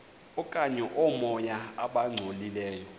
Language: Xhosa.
okanye oomoya abangcolileyo